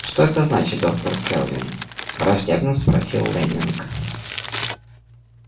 что это значит доктор кэлвин враждебно спросил лэннинг